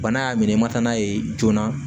Bana y'a minɛ i ma taa n'a ye joona